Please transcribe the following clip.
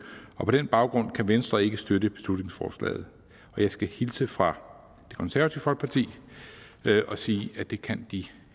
og på den baggrund kan venstre ikke støtte beslutningsforslaget jeg skal hilse fra det konservative folkeparti og sige at det kan de